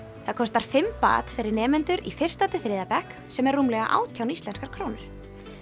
það kostar fimm fyrir nemendur í fyrsta til þriðja bekk sem er rúmlega átján íslenskar krónur